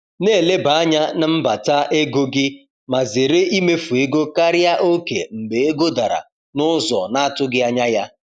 Na-eleba anya n’mbata na mmefu ego gị ma zere imefu ego karịa oke mgbe ego dara n’ụzọ na-atụghị anya ya.